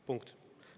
Punkt.